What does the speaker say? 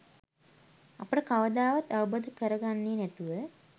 අපට කවදාවත් අවබෝධ කරගන්නේ නැතුව